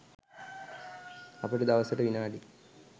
අපට දවසට විනාඩි